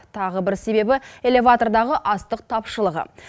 тағы бір себебі элеватордағы астық тапшылығы